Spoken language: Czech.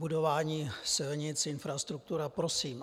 Budování silnic, infrastruktura, prosím.